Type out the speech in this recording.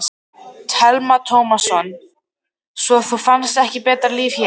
Telma Tómasson: Svo þú fannst ekki betra líf hér?